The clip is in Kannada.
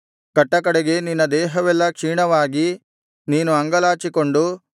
ಕಟ್ಟಕಡೆಗೆ ನಿನ್ನ ದೇಹವೆಲ್ಲಾ ಕ್ಷೀಣವಾಗಿ ನೀನು ಅಂಗಲಾಚಿಕೊಂಡು